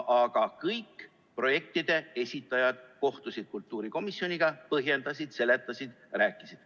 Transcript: Aga kõik projektide esitajad kohtusid kultuurikomisjoniga, põhjendasid, seletasid, rääkisid.